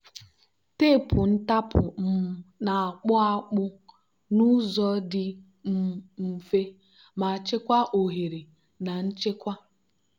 teepu ntapu um na-akpụ akpụ n'ụzọ dị um mfe ma chekwaa oghere na nchekwa.